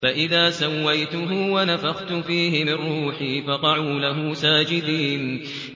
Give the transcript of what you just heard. فَإِذَا سَوَّيْتُهُ وَنَفَخْتُ فِيهِ مِن رُّوحِي فَقَعُوا لَهُ سَاجِدِينَ